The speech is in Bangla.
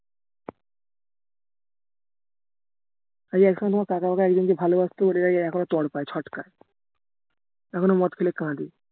আরে একসময় ভালোবাসতো এখনো তড়পায় ছটকায় এখনো মদ খেলে কাঁদে